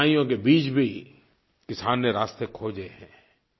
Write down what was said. कठिनाइयों के बीच भी किसान ने रास्ते खोजे हैं